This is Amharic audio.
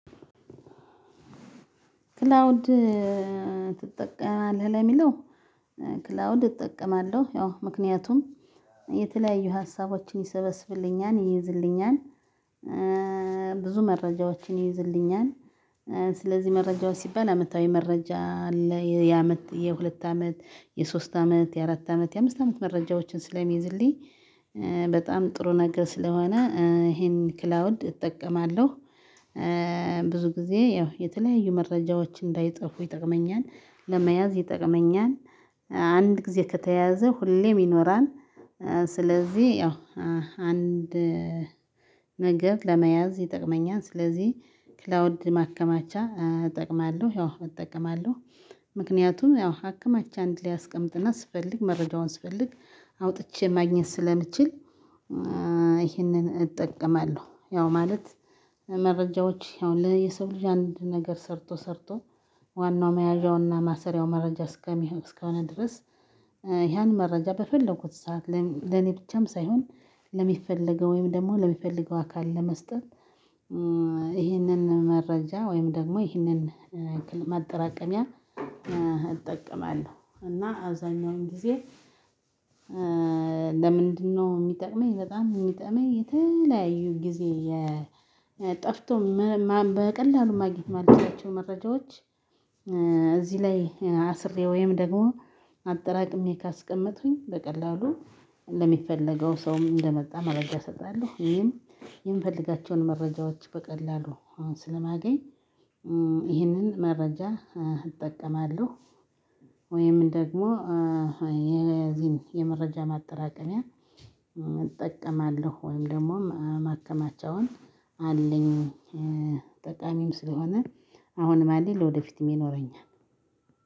ክላውድ ትጠቀማለህ ለሚለው ክላውድ እጠቀማለሁ ያው ምክንያቱም የተለያዩ ሀሳቦችን ይሰበስብልኛል ይይዝልኛል። ብዙ መረጃዎችን ይይዝልኛል። ስለዚህ መረጃዎች ሲባል አመታዊ መረጃ አለ የአመት የሁለት አመት የሶስት አመት የአራት አመት የአምስት አመት መረጃዎችን ስለሚይዝልኝ በጣም ጥሩ ነገር ስለሆነ ይሄን ክላውድ እጠቀማለሁ። ብዙ ጊዜ ያው የተለያዩ መረጃዎች እንዳይጠፉ ይጠቅመኛል ለመያዝ ይጠቅመኛል። አንድ ጊዜ ከተያዘ ሁሌም ይኖራል። ስለዚህ ያው አንድ ነገር ለመያዝ ይጠቅመኛል። ስለዚህ ክላውድ ማከማቻ እጠቅማለሁ ያው እጠቀማለሁ። ምክንያቱም ያው አከማችቼ አንድ ላይ አስቀምጥና ስፈልግ መረጃውን ስፈልግ አውጥቼ ማግኘት ስለምችል ይህንን እጠቀማለሁ። ያው ማለት መረጃዎች ያው ለየሰው ልጅ አንድ ነገር ሰርቶ ሰርቶ ዋናው መያዣውና ማሰሪያው መረጃ እስከሚሆን እስከሆነ ድረስ ያን መረጃ በፈለኩት ሰዓት ለእኔ ብቻም ሳይሆን ለሚፈለገው ወይም ደግሞ ለሚፈልገው አካል ለመስጠት። ይሄንን መረጃ ወይም ደግሞ ይሄንን ማጠራቀሚያ እጠቀማለሁ እና አብዛኛውን ጊዜ። ለምንድነው ሚጠቅመኝ በጣም የሚጠቅመኝ የተለያዩ ጊዜ? ጠፍቶም በቀላሉ ማግኘት ማልችላቸው መረጃዎች። እዚህ ላይ አስሬ ወይም ደግሞ አጠራቅሜ ካስቀመጥኩኝ በቀላሉ ለሚፈለገው ሰውም እንደመጣ መረጃ እሰጣለሁ። ይሄን የምፈልጋቸውን መረጃዎች በቀላሉ አሁን ስለማገኝ ይህንን መረጃ እጠቀማለሁ። ወይም ደግሞ የዚህን የመረጃ ማጠራቀሚያ እጠቀማለሁ ወይም ደግሞ ማከማቻውን አለኝ። ጠቃሚም ስለሆነ አሁንም አለኝ ለወደፊትም ይኖረኛል።